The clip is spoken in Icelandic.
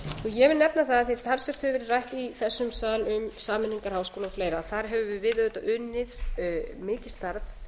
ég vil nefna það af því að talsvert hefur verið rætt í þessum sal um sameiningar háskóla og fleiri að þar höfum við auðvitað unnið mikið starf